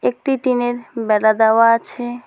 একটি টিনের বেড়া দেওয়া আছে।